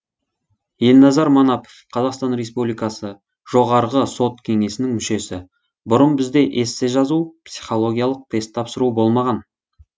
елназар манапов қазақстан республикасы жоғарғы сот кеңесінің мүшесі бұрын бізде эссе жазу психологиялық тест тапсыру болмаған